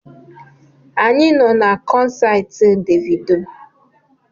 Anyị nọ na kọnsaati Devido